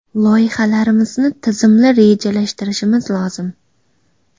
Loyihalarimizni tizimli rejalashtirishimiz lozim.